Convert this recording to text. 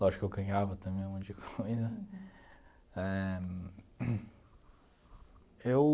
Lógico que eu ganhava também um monte de coisa éh, eu...